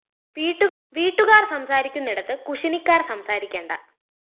വീട്ടുകാര്‍ സംസാരിക്കുന്നിടത്ത് കുശിനിക്കാര്‍ സംസാരിക്കേണ്ട